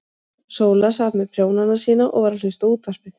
Sóla sat með prjónana sína og var að hlusta á útvarpið.